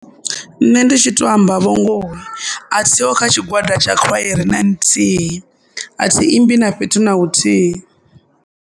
Nṋe ndi tshi to amba vho ngoho a thiho kha tshigwada tsha khwaere na nthihi a thi imbi na fhethu na hu thihi.